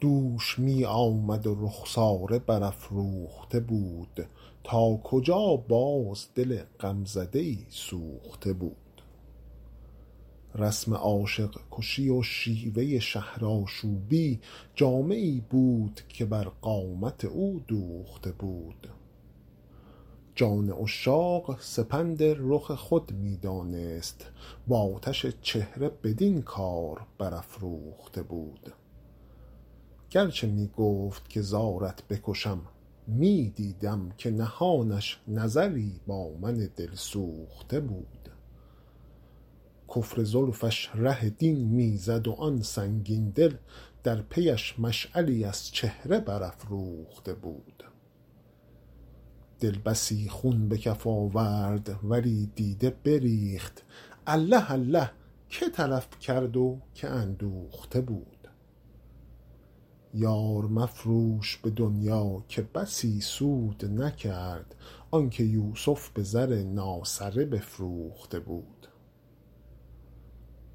دوش می آمد و رخساره برافروخته بود تا کجا باز دل غمزده ای سوخته بود رسم عاشق کشی و شیوه شهرآشوبی جامه ای بود که بر قامت او دوخته بود جان عشاق سپند رخ خود می دانست و آتش چهره بدین کار برافروخته بود گر چه می گفت که زارت بکشم می دیدم که نهانش نظری با من دلسوخته بود کفر زلفش ره دین می زد و آن سنگین دل در پی اش مشعلی از چهره برافروخته بود دل بسی خون به کف آورد ولی دیده بریخت الله الله که تلف کرد و که اندوخته بود یار مفروش به دنیا که بسی سود نکرد آن که یوسف به زر ناسره بفروخته بود